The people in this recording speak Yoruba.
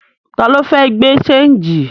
Ta ló fẹ́ gbé ṣéńjì?